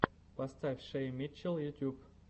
поставь шей митчелл ютьюб